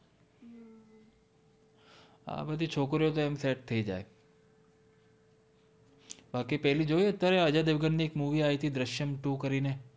આ બધિ છોકરી ઓ તો એમ સેટ થૈ જાએ પછિ પેલિ જોઇ અજય઼ દેવ્ગન નિ એક મુવી આઇ તિ દ્રશ્ય઼અમ two કરિ ને